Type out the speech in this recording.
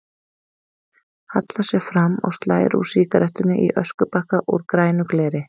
Hallar sér fram og slær úr sígarettunni í öskubakka úr grænu gleri.